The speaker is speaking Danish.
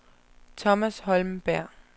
Thomas Holmberg